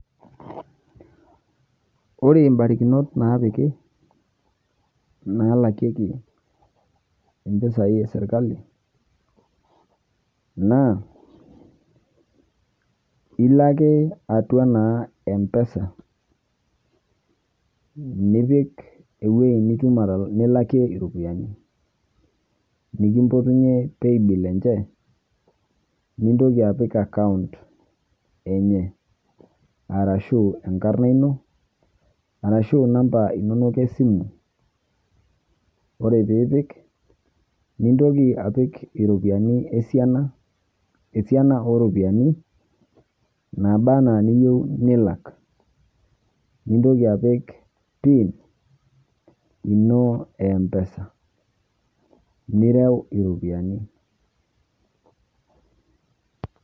Ore mbarikinot naapiki naalakieki mpisai e serkali naa ilo ake atua naa mpesa nipik ewuei nitum atal nilakie iropiani nikimpotunye paybill enje, nintoki apik aacount enye arashu enkarna ino arashu namba inonok e simu. Ore piipik nintoki apik iropiani esiana, esiana oo ropiani naaba naa niyeu nilak, nintoki apik pin ino e mpesa nireu iropiani.